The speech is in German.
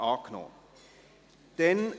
Grüne [de Meuron, Thun];